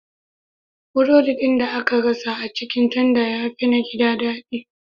Burodi ɗin da aka gasa a cikin tanda ya fi na gida daɗi.